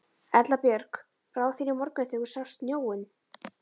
Erla Björg: Brá þér í morgun þegar þú sást snjóinn?